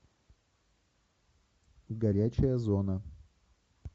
горячая зона